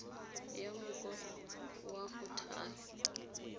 ya mokoro wa go thaya